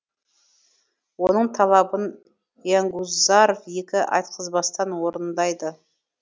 оның талабын янгузаров екі айтқызбастан орындайды